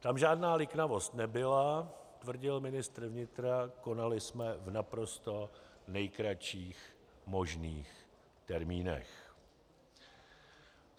Tam žádná liknavost nebyla, tvrdil ministr vnitra, konali jsme v naprosto nejkratších možných termínech.